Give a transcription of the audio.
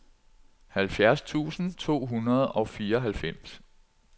halvfjerds tusind to hundrede og fireoghalvfems